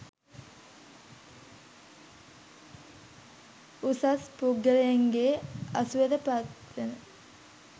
උසස් පුද්ගලයින්ගේ ඇසුරට පත් වන